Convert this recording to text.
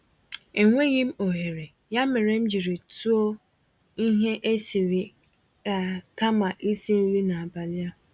Enweghịm ohere, ya mere m jírí tụọ ihe esiri-eai kama isi nri n'abalị a.